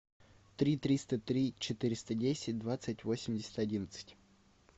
три триста три четыреста десять двадцать восемьдесят одиннадцать